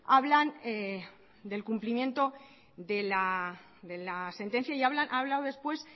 hablan del cumplimiento de la sentencia y a hablado después